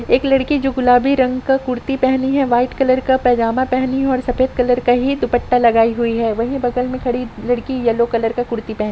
एक लड़की जो गुलाबी रंग का कुर्ती पहनी है व्हाइट कलर का पैजामा पहनी है और सफ़ेद कलर का ही दुपट्टा लगाई हुई है वही बगल में खड़ी लड़की येलो कलर का कुर्ती पहनी --